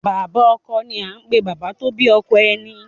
Bàbá Ọkọ ni à n pè Bàbá tó bí ọkọ ẹni